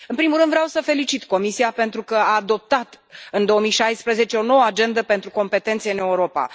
În primul rând, vreau să felicit Comisia pentru că a adoptat în 2016 o Nouă agendă pentru competențe în Europa.